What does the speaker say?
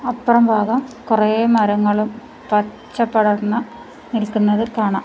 അപ്രം ഭാഗം കൊറേ മരങ്ങളും പച്ചപ്പടർന്ന നിൽക്കുന്നത് കാണാം.